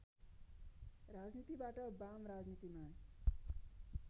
राजनीतिबाट वाम राजनीतिमा